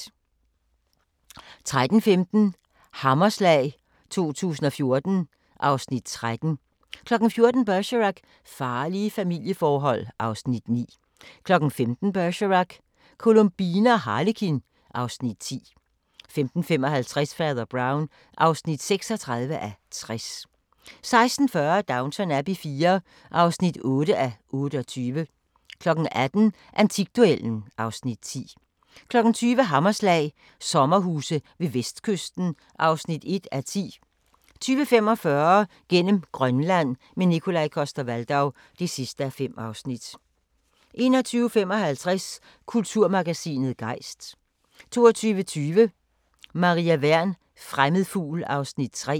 13:15: Hammerslag 2014 (Afs. 13) 14:00: Bergerac: Farlige familieforhold (Afs. 9) 15:00: Bergerac: Columbine og Harlekin (Afs. 10) 15:55: Fader Brown (36:60) 16:40: Downton Abbey IV (8:28) 18:00: Antikduellen (Afs. 10) 20:00: Hammerslag – sommerhuse ved vestkysten (1:10) 20:45: Gennem Grønland – med Nikolaj Coster-Waldau (5:5) 21:55: Kulturmagasinet Gejst 22:20: Maria Wern: Fremmed fugl (3:18)